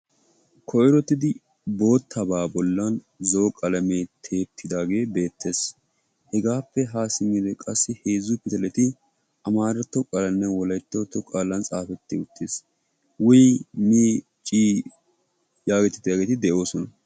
koyrittidi bootabaa boolan zo'o qalamee tiyetidaagee beettees. hegaappe ha simiyode heezu pitaleti amaaratto qaalan xaafetti uttis. wii mii cii yaagetiyaageeti de'oosona.